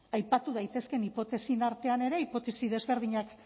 ba aipatu daitezkeen hipotesien artean ere hipotesi desberdinak